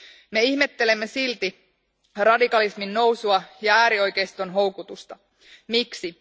Me ihmettelemme silti radikalismin nousua ja äärioikeiston houkutusta. Miksi?